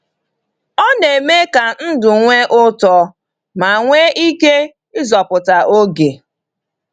Ọ na-eme ka ndụ nwee ụtọ ma nwee ike ịzọpụta oge.